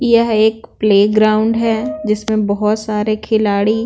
यह एक प्लेग्राउंड है जिसमें बहुत सारे खिलाड़ी--